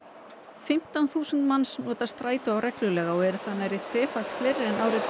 fimmtán þúsund manns nota strætó reglulega og eru það nærri þrefalt fleiri en árið tvö